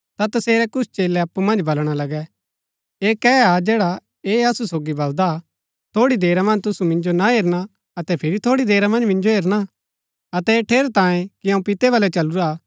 ता तसेरै कुछ चेलै अप्पु मन्ज बलणा लगै ऐह कै हा जैडा ऐह असु सोगी बलदा हा थोड़ी देरा मन्ज तुसु मिन्जो ना हेरणा अतै फिरी थोड़ी देरा मन्ज मिन्जो हेरणा अतै ऐह ठेरैतांये कि अऊँ पितै बलै चलूरा